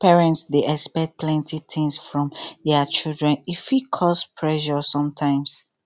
parents dey expect plenty things from dia children e fit cause pressure sometimes